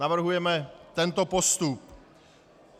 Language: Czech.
Navrhujeme tento postup: